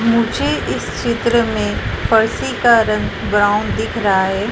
मुझे इस चित्रा में पारसी का रंग ब्राउन दिख रहा है।